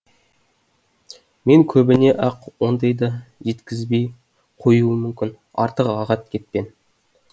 мен көбіне ақ ондай да жеткізбей қоюым мүмкін артық ағат кетпен